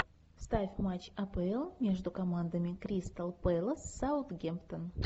ставь матч апл между командами кристал пэлас саутгемптон